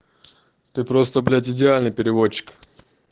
ты просто блять идеальный переводчик